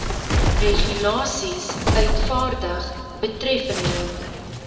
regulasies uitvaardig betreffende